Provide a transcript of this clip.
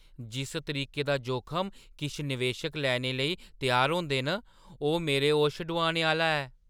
जिस तरीके दा जोखम किश निवेशक लैने ई त्यार होंदे न, ओह् मेरे होश डुआने आह्‌ला ऐ।